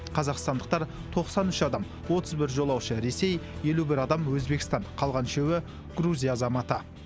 қазақстандықтар тоқсан үш адам отыз бір жолаушы ресей елу бір адам өзбекстан қалған үшеуі грузия азаматы